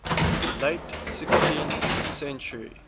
late sixteenth century